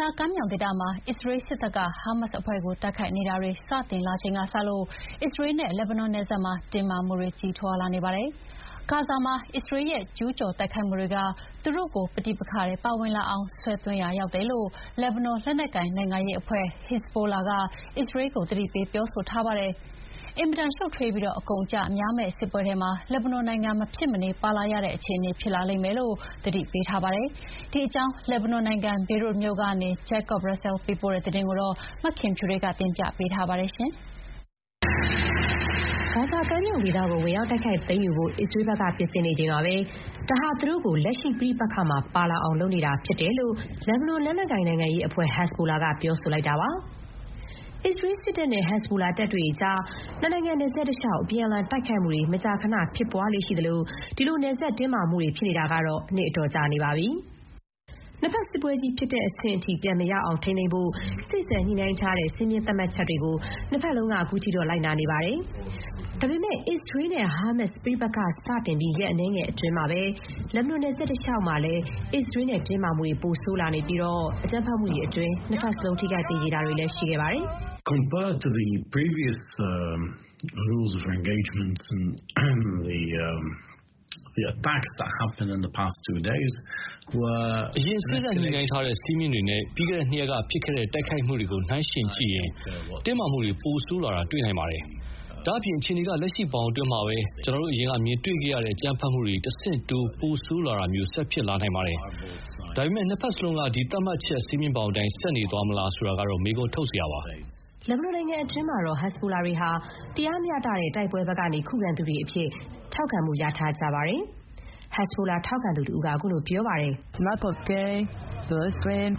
ဇာကမ်းမြောင်ဒေသမှာ အစ္စရေးစစ်တပ်က ဟားမတ်စ်အဖွဲ့ကို တိုက်ခိုက်တာတွေ စတင် လာချိန်ကစလို့ အစ္စရေးနဲ့ လက်ဘနွန်နယ်စပ်မှာ တင်းမာမှုတွေ ကြီးထွားလာနေပါတယ်။ ဂါဇာမှာ အစ္စရေးရဲ့ ကျူးကျော်တိုက်ခိုက်မှုတွေက သူတို့ကို ပဋိပက္ခထဲ ပါဝင်လာအောင် ဆွဲသွင်းရာ ရောက်တယ်လို့ လက်ဘနွန် လက်နက်ကိုင် နိုင်ငံရေးအဖွဲ့ ဟက်ဇ်ဘိုလာ က အစ္စရေးကို သတိပေးပြောဆိုထားပါတယ်။ အင်မတန် ရှုပ်ထွေးပြီး အကုန်အကျများမယ့် စစ်ပွဲထဲမှာ လက်ဘနွန်နိုင်ငံ မဖြစ်မနေပါလာရတဲ့အခြေအနေ ဖြစ်လာလိမ့်မယ်လို့ သတိပေးထားပါတယ်။ ဒီအကြောင်း လက်ဘနွန်နိုင်ငံ Beirut မြို့ကနေ Jacob Russell ပေးပို့တဲ့ သတင်းကို မခင်ဖြူထွေးက တင်ပြပေးထားပါတယ်။ ဂါဇာကမ်းမြောင်ဒေသကို ဝင်ရောက် တိုက်ခိုက်သိမ်းယူဖို့ အစ္စရေးဘက်က ပြင်ဆင်နေချိန်မှာပဲ ဒါဟာ သူတို့ကို လက်ရှိပဋိပက္ခမှာပါလာအောင် လုပ်နေတာဖြစ်တယ်လို့ လက်ဘနွန် လက်နက်ကိုင် နိုင်ငံရေးအဖွဲ့ ဟက်ဇ်ဘိုလာ က ပြောဆိုလိုက်တာပါ။ အစ္စရေးစစ်တပ်နဲ့ ဟက်ဇ်ဘိုလာ တပ်ဖွဲ့တွေကြား နှစ်နိုင်ငံ နယ်စပ်တလျှောက် အပြန်အလှန် တိုက်ခိုက်မှုတွေ မကြာခဏဖြစ်ပွားလေ့ရှိသလို ဒီလို နယ်စပ်မှာ တင်းမာမှုတွေ ဖြစ်နေတာကတော့ နှစ်အတော်ကြာနေပါပြီ။ နှစ်ဘက် စစ်ပွဲကြီးဖြစ်တဲ့အဆင့် ပြန်မရောက်အောင် ထိန်းသိမ်းဖို့ စေ့စပ်ညှိနှိုင်းထားတဲ့ စည်းမျဥ်း သတ်မှတ်ချက်တွေကို နှစ်ဘက်လုံးက ခုထိတော့ လိုက်နာနေပါတယ်။ ဒါပေမဲ့ အစ္စရေးနဲ့ဟားမတ်စ် ပဋိပက္ခစတင်ပြီး ရက်အနည်းငယ်အတွင်းမှာပဲ လက်ဘနွန် နယ်စပ်တလျှောက်မှာလည်း အစ္စရေးနဲ့ တင်းမာမှုတွေပိုဆိုးလာခဲ့ပြီး အကြမ်းဖက်မှုတွေအတွင်း နှစ်ဘက်စလုံး ထိခိုက် သေကြေတာတွေ ရှိခဲ့ပါတယ်။ Mohanad Hage Ali က Carnegie Middle East Center ကပါ။ “အရင် စေ့စပ် ညှိနှိုင်းထားတဲ့ စည်းမျဥ်းတွေနဲ့ ပြီးခဲ့တဲ့ နှစ်ရက်က ဖြစ်ခဲ့တဲ့ တိုက်ခိုက်မှုတွေကို နှိုင်းယှဥ်ကြည့်ရင် တင်းမာမှုတွေ ပိုဆိုးလာတာ တွေ့နိုင်ပါတယ်။” “ဒါ့အပြင် အခြေအနေက လက်ရှိ ဘောင်အတွင်းမှာပဲ… ကျနော်တို့ အရင်က မြင်တွေ့ခဲ့ရတဲ့ အကြမ်းဖက်မှုတွေ တဆင့်တိုး ပိုဆိုး လာတာမျိုး ဆက် ဖြစ်လာနိုင်ပါတယ်။ ဒါပေမဲ့ နှစ်ဘက်စလုံးက ဒီသတ်မှတ်ချက် စည်းမျဥ်းဘောင်အတိုင်း ဆက်နေသွားမလား ဆိုတာကတော့ မေးခွန်းထုတ်စရာပါ။” လက်ဘနွန်နိုင်ငံအတွင်းမှာတော့ − ဟက်ဇ်ဘိုလာတွေဟာ တရားမျှတတဲ့ တိုက်ပွဲဘက်ကနေ ခုခံသူတွေ အဖြစ် ထောက်ခံမှု ရထားပါတယ်။ ဟက်ဇ်ဘိုလာ ထောက်ခံသူတဦးက ခုလိုပြောပါတယ်။ “ပါလက်စတိုင်း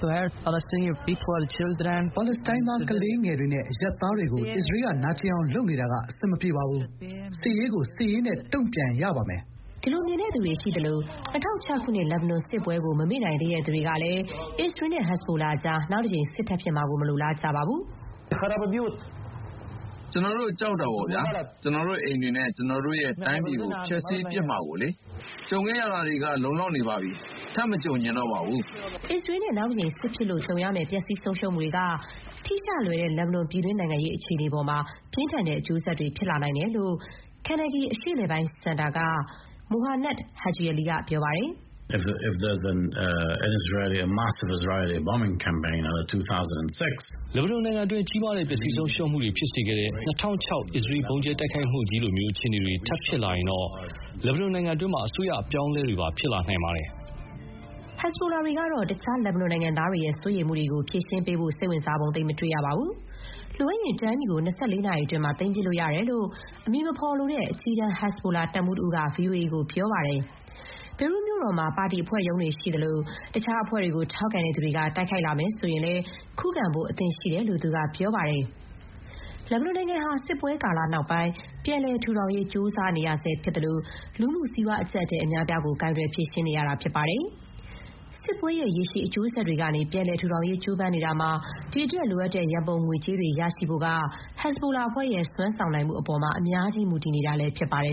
သား ကလေးငယ်တွေနဲ့ အရပ်သားတွေကို အစ္စရေးက နာကျင်အောင် လုပ်နေတာက အဆင်မပြေပါဘူး။ စစ်ရေးကို စစ်ရေးနဲ့ တုံ့ပြန်ရပါမယ်။” ဒီလိုမြင်တဲ့သူတွေ ရှိသလို ၂၀၀၆ ခုနှစ် လက်ဘနွန်စစ်ပွဲကို မမေ့နိုင်သေးသူတွေကတော့ အစ္စရေးနဲ့ ဟက်ဇ်ဘိုလာကြား နောက်တကြိမ် စစ် ထပ်ဖြစ်မှာကို မလိုလားကြပါဘူး။ “ကျနော်တို့ ကြောက်တာပေါ့ဗျာ။ ကျနော်တို့အိမ်တွေ၊ ကျနော်တို့ရဲ့ တိုင်းပြည်ကို ဖျက်ဆီးပစ်မှာလေ။ ကြုံခဲ့ရတာတွေက လုံလောက်ပါပြီ။ ထပ်မကြုံချင်တော့ပါဘူး။” အစ္စရေးနဲ့ နောက်တကြိမ် စစ်ဖြစ်လို့ ကြုံရမယ့် ပျက်စီး ဆုံးရှုံးမှုတွေက ထိရှလွယ်တဲ့ လက်ဘနွန် ပြည်တွင်း နိုင်ငံရေး အပေါ်မှာလည်း ပြင်းထန်တဲ့ အကျိုးဆက်တွေ ဖြစ်လာနိုင်တယ်လို့ Carnegie အရှေ့အလယ်ပိုင်း စင်တာက Mohanad Hage Ali က ပြောပါတယ်။ “လက်ဘနွန်နိုင်ငံတွင်း ကြီးမားတဲ့ပျက်စီးဆုံးရှုံးမှုတွေ ဖြစ်စေခဲ့တဲ့ ၂၀၀၆ အစ္စရေး ဗုံးကြဲတိုက်ခိုက်မှုကြီးလို အခြေအနေတွေ ထပ်ဖြစ်လာရင်တော့ လက်ဘနွန်နိုင်ငံတွင်း အစိုးရ အပြောင်းအလဲတွေပါ ဖြစ်လာနိုင်ပါတယ်။” ဟက်ဇ်ဘိုလာတွေ ကတော့ တခြား လက်ဘနွန် နိုင်ငံသားတွေရဲ့ စိုးရိမ်မှုတွေကို ဖြေရှင်းဖို့ စိတ်ဝင်စားပုံ သိပ်မတွေ့ရပါဘူး။ လိုအပ်ရင် တိုင်းပြည်ကို ၂၄ နာရီအတွင်း သိမ်းပစ်လို့ရတယ်လို့ အမည်မဖော်လိုတဲ့ အကြီးတန်း ဟက်ဇ်ဘိုလာတပ်မှူးတဦးက ဗွီအိုအေကို ပြောပါတယ်။ ဘေရွတ်မြို့တော်မှာ ပါတီအဖွဲ့ရုံးတွေရှိသလို တခြား အဖွဲ့တွေကို ထောက်ခံသူတွေက တိုက်ခိုက်လာရင် ခုခံဖို့ အသင့်ရှိတယ်လို့ သူက ပြောပါတယ်။ လက်ဘနွန်နိုင်ငံဟာ စစ်ပွဲကာလ နောက်ပိုင်း ပြန်လည် ထူထောင်ရေး ကြိုးစားနေရဆဲဖြစ်သလို၊ လူမှု စီးပွား အကျပ်အတည်း အများအပြားကို ကိုင်တွယ် ဖြေရှင်းနေရဆဲ ဖြစ်ပါတယ်။ စစ်ပွဲရဲ့ ရေရှည် အကျိုးဆက်တွေကနေ ပြန်လည် ထူထောင်ရေး ကြိုးပမ်းနေတာမှာ ဒီအတွက် လိုအပ်တဲ့ ရန်ပုံငွေကြေးတွေ ရရှိဖို့က ဟက်ဇ်ဘိုလာအဖွဲ့ရဲ့ စွမ်းဆောင်နိုင်မှုအပေါ်မှာ အများကြီး မူတည်နေတာလည်း ဖြစ်ပါတယ်